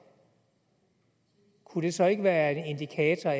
kunne det så ikke være en indikator